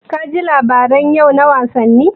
Ka ji labaran yau na wasanni?